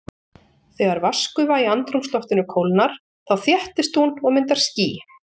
Þegar vatnsgufa í andrúmsloftinu kólnar þá þéttist hún og myndar ský.